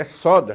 É soda.